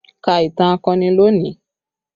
Ka ìtàn akọni lónìí!